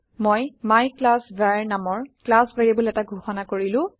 মই মাইক্লাছভাৰ নামৰ class variable এটা ঘোষণা কৰিলো